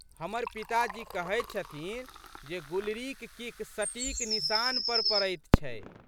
हमर पिताजी कहैत छथिन जे गुलरीक किक सटीक निशान पर पड़ैत छै।